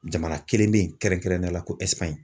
Jamana kelen bɛ yen kɛrɛnkɛrɛnnenya la ko